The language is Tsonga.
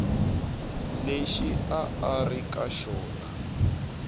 lexi a a ri eka